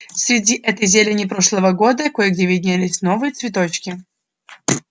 среди этой зелени прошлого года кое-где виднелись новые цветочки